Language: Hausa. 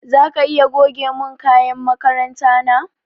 Zaka iya goge mun kayan makaranta na?